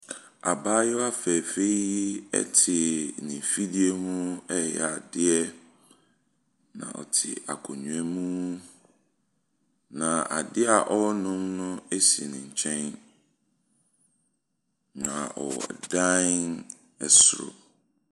Abayewa fɛɛfɛɛ yi te n'afidie ho reyɛ adeɛ, na ɔte akonnwa mu, na adeɛ a ɔreno no si ne nkyɛn, na ɔwɔ dan soro.